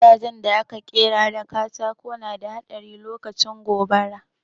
Gidajen da aka ƙera da katako na da haɗari lokacin gobara